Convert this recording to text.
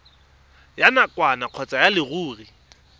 ya nakwana kgotsa ya leruri